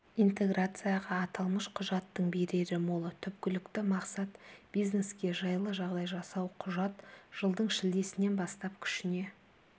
интеграцияға аталмыш құжаттың берері мол түпкілікті мақсат бизнеске жайлы жағдай жасау құжат жылдың шілдесінен бастап күшіне